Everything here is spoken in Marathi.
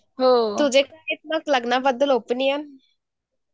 तुझे लग्नाबद्दल ओपिनियन .